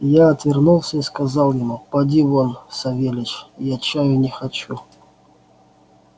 я отвернулся и сказал ему поди вон савельич я чаю не хочу